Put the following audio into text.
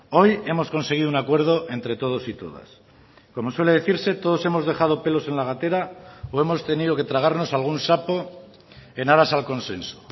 hoy hemos conseguido un acuerdo entre todos y todas como suele decirse todos hemos dejado pelos en la gatera o hemos tenido que tragarnos algún sapo en aras al consenso